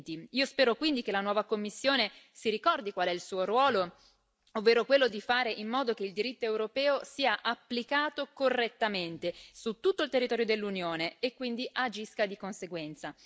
2020. Io spero quindi che la nuova Commissione si ricordi qual è il suo ruolo, ovvero quello di fare in modo che il diritto europeo sia applicato correttamente su tutto il territorio dell'Unione e quindi agisca di conseguenza.